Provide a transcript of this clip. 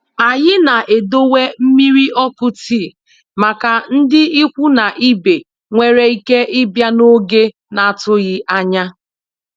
Anyị na-edowe mmiri ọkụ tii màkà ndị ikwu na ibe nwéré ike ịbịa n'oge n'atụghị ányá.